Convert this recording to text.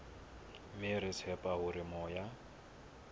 mme re tshepa hore moya